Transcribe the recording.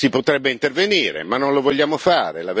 Si potrebbe intervenire, ma non lo vogliamo fare.